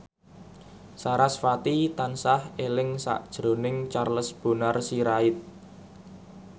sarasvati tansah eling sakjroning Charles Bonar Sirait